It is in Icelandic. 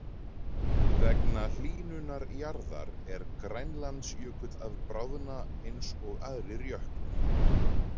Vegna hlýnunar jarðar er Grænlandsjökull að bráðna eins og aðrir jöklar.